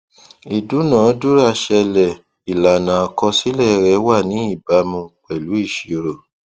ìdúnàádúràá ṣẹlẹ ìlànà àkọsílẹ rẹ wà ní ìbámu pèlú ìṣirò